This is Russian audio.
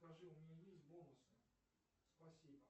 скажи у меня есть бонусы спасибо